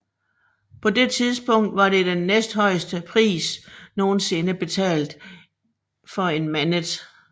På det tidspunkt var det den næsthøjeste pris nogensinde betalt for en Manet